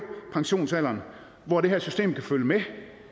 pensionsalderen hvor det her system kan følge med